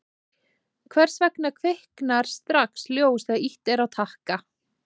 hvers vegna kviknar strax ljós þegar ýtt er á takka